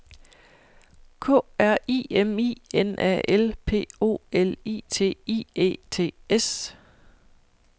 K R I M I N A L P O L I T I E T S